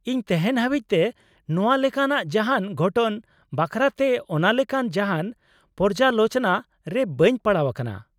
ᱤᱧ ᱛᱮᱦᱮᱧ ᱦᱟᱹᱵᱤᱡ ᱛᱮ ᱱᱚᱶᱟ ᱞᱮᱠᱟᱱᱟᱜ ᱡᱟᱦᱟᱸᱱ ᱜᱷᱚᱴᱚᱱ ᱵᱟᱠᱷᱨᱟᱛᱮ ᱚᱱᱟ ᱞᱮᱠᱟᱱ ᱡᱟᱦᱟᱸᱱ ᱯᱚᱨᱡᱟᱞᱳᱪᱚᱱᱟ ᱨᱮ ᱵᱟᱹᱧ ᱯᱟᱲᱟᱣ ᱟᱠᱟᱱᱟ ᱾